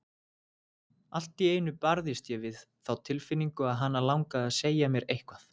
Allt í einu barðist ég við þá tilfinningu að hana langaði að segja mér eitthvað.